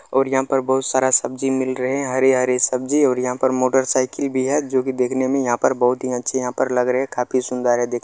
और यहाँ पर बहुत सारा सब्जी मिल रहें हैं हरे-हरे सब्जी और यहाँ पर मोटरसाइकिल भी है जो की देखने में यहाँ पर बहुत ही अच्छी यहाँ पर लग रहें हैं काफी सुंदर है देख --